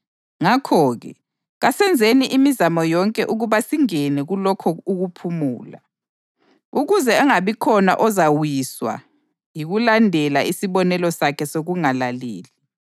Ngakho-ke, kasenzeni imizamo yonke ukuba singene kulokho ukuphumula, ukuze angabikhona ozawiswa yikulandela isibonelo sakhe sokungalaleli.